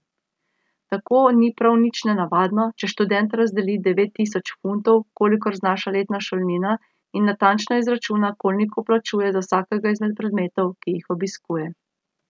Tako ni prav nič nenavadno, če študent razdeli devet tisoč funtov, kolikor znaša letna šolnina, in natančno izračuna, koliko plačuje za vsakega izmed predmetov, ki jih obiskuje.